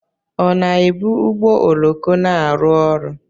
Ọ na-ebu ụgbọ oloko na-arụ ọrụ?